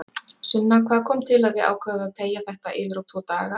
Sunna: Hvað kom til að þið ákváðuð að teygja þetta yfir á tvo daga?